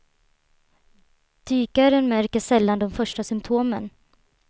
Dykaren märker sällan de första symtomen.